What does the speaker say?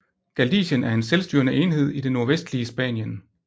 Galicien er en selvstyrende enhed i det nordvestlige Spanien